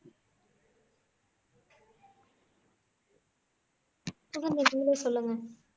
சொல்லவா